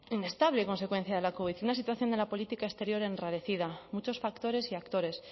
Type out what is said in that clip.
inestable consecuencia de la covid una situación de la política exterior enrarecida muchos factores y actores